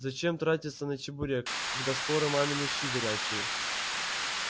зачем тратиться на чебурек когда скоро мамины щи горячие